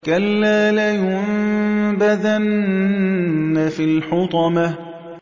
كَلَّا ۖ لَيُنبَذَنَّ فِي الْحُطَمَةِ